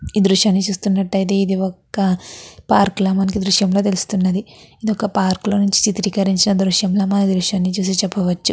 ఈ దృశ్యాన్ని చూస్తున్నట్టాయితే ఇది ఒక పార్క్ లా మనకి ఈ దృశ్యం లో తెలుస్తున్నది ఇది ఒక పార్క్ లో చిత్రీకరించిన చిత్రం లా మనం ఈ దృశ్యాన్ని చూసి చెప్పవచ్చు.